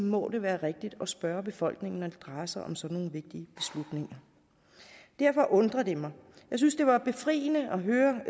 må det være rigtigt at spørge befolkningen når det drejer sig om sådan nogle vigtige beslutninger derfor undrer det mig jeg synes det var befriende at høre